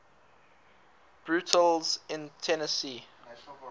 burials in tennessee